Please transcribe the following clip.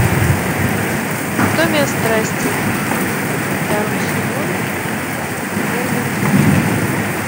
анатомия страсти второй сезон первый эпизод